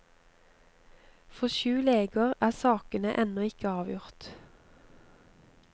For syv leger er sakene ennå ikke avgjort.